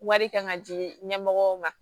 Wari kan ka di ɲɛmɔgɔw ma